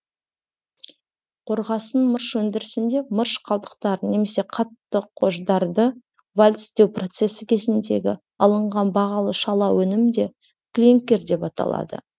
қорғасын мырыш өндірісінде мырыш қалдықтарын немесе қатты қождарды вальцтеу процесі кезіндегі алынған бағалы шала өнім де клинкер деп аталады